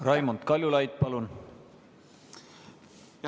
Raimond Kaljulaid, palun!